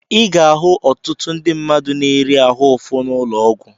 I ga-ahụ ọtụtụ ndị mmadụ na-eri ahụ ụfụ n'ụlọ ọgwụ.